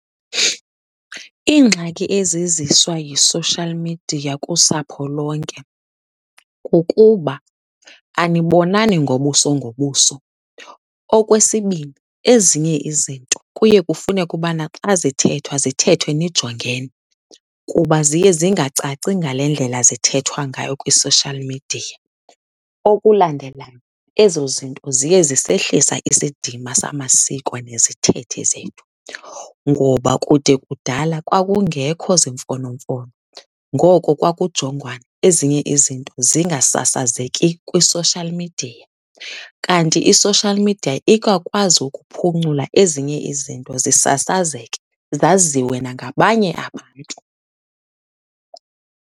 Iingxaki eziziswa yi-social media kusapho lonke kukuba anibonani ngobuso ngobuso. Okwesibini, ezinye izinto kuye kufuneke ubana xa zithethwa zithethwe nijongene kuba ziye zingacaci ngale ndlela zithethwa ngayo kwi-social media. Okulandelayo, ezo zinto ziye zisehlisa isidima samasiko nezithethe zethu ngoba kude kudala kwakungekho zimfonomfono, ngoko kwakujongwana ezinye izinto zingasasazeki kwi-social media. Kanti i-social media ikakwazi ukuphuncula ezinye izinto zisasazeke, zaziwe nangabanye abantu.